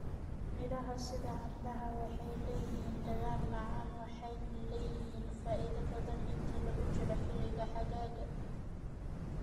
Miraha sida canbaha waxay leeyihiin dhadhan macaan waxayna leeyihiin faa'iido badan inta lagu jiro xilliga xagaaga.